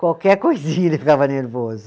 Qualquer coisinha ele ficava nervoso.